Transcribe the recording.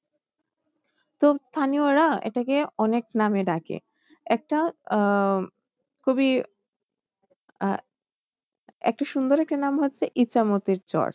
তো স্থানীয়রা এটাকে অনেক নামে ডাকে একটা আহ খুবই আহ একটি সুন্দর একটি নাম হচ্ছে ইচ্ছামতির চর।